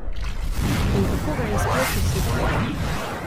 In kako ga je sploh osvetlilo?